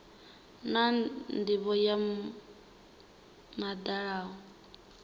na ndivho yo dalaho ya